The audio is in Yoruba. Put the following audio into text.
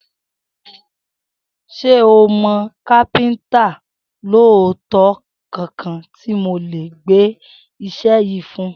S̩e o mò̩ kápé̩ǹtà olóòótó kankan tí mo lè gbé is̩é̩ yìí fún?